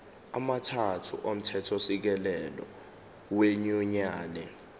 amathathu omthethosisekelo wenyunyane